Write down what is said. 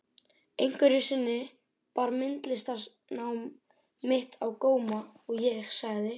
Einhverju sinni bar myndlistarnám mitt á góma og ég sagði